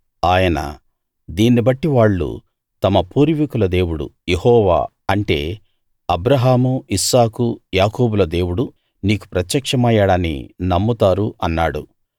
ఆయన దీన్ని బట్టి వాళ్ళు తమ పూర్వీకుల దేవుడు యెహోవా అంటే అబ్రాహాము ఇస్సాకు యాకోబుల దేవుడు నీకు ప్రత్యక్షమయ్యాడని నమ్ముతారు అన్నాడు